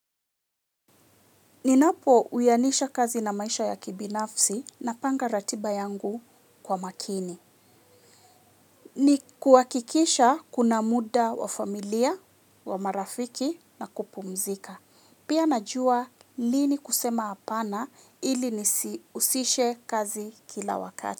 Ninapo uyanisha kazi na maisha ya kibinafsi napanga ratiba yangu kwa makini. Ni kuhakikisha kuna muda wa familia, wa marafiki na kupumzika. Pia najua lini kusema apana ili nisiusishe kazi kila wakati.